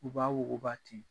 U b'a wuguba ten.